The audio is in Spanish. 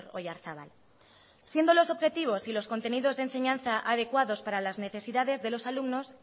oyarzabal siendo los objetivos y los contenidos de enseñanza adecuados para las necesidades de los alumnos